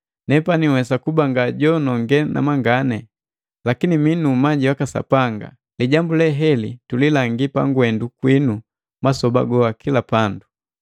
Nepani nhwesa kuba nga jononge namangani, lakini mii nu umanyi waka Sanga. Lijambu le heli tulilangi pangwendu kwinu masoba goa kila pandu.